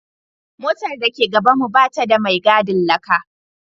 Motar da ke gabanmu ba ta da mai gadin laka